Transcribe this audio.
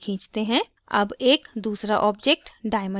अब एक दूसरा object diamond बनाते हैं